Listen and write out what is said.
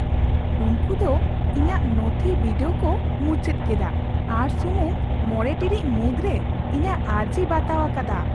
ᱩᱱᱠᱩ ᱫᱚ ᱤᱧᱟᱹᱜ ᱱᱚᱛᱷᱤ ᱵᱤᱰᱟᱹᱣ ᱠᱚ ᱢᱩᱪᱟᱹᱫ ᱠᱮᱫᱟ ᱟᱨ ᱥᱩᱢᱩᱝ ᱕ ᱴᱤᱲᱤᱡ ᱢᱩᱫᱨᱮ ᱤᱧᱟᱹᱜ ᱟᱨᱡᱤ ᱵᱟᱛᱟᱣ ᱟᱠᱟᱫᱟ ᱾